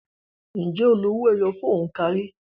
Ǹjẹ́ o lo owó ẹyọ fún òǹkà rí?